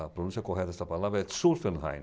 A pronúncia correta dessa palavra é Zuffenhain.